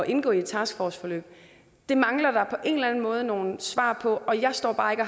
indgå i et taskforceforløb det mangler der på en eller anden måde nogle svar på og jeg står bare ikke